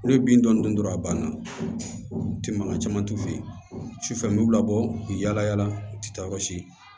N'o ye bin dɔɔni dɔrɔn a banna u tɛ mankan caman t'u fɛ yen sufɛ n bɛ u labɔ u bɛ yala yala u tɛ taa yɔrɔ si